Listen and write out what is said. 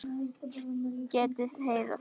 Geti þeir það?